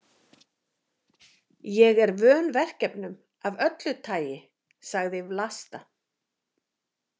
Ég er vön verkefnum af öllu tagi, sagði Vlasta.